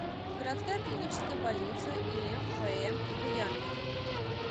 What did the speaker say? городская клиническая больница им вм буянова